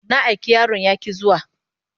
Na aiki yaron ya ƙi zuwa.